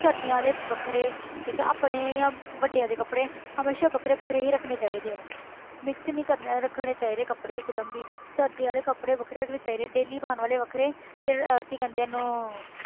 ਸਰਦੀਆਂ ਵਾਲੇ ਵੱਖਰੇ ਠੀਕ ਆ ਆਪਣੇ ਜਾਂ ਵੱਡਿਆਂ ਦੇ ਕੱਪੜੇ ਹਮੇਸ਼ਾ ਵੱਖਰੇ ਵੱਖਰੇ ਹੀ ਰੱਖਣੇ ਚਾਹੀਦੇ ਆ mix ਨੀ ਕਰਨ~ ਰੱਖਣੇ ਚਾਹੀਦੇ ਕੱਪੜੇ ਇੱਕ ਦਮ ਵੀ ਸਰਦੀਆਂ ਵਾਲੇ ਕੱਪੜੇ ਵੱਖਰੇ ਰੱਖਣੇ ਚਾਹੀਦੇ ਆ daily ਪਾਉਣ ਵਾਲੇ ਵੱਖਰੇ ਤੇ ਕੀ ਕਹਿੰਦੇ ਆ ਇਹਨੂੰ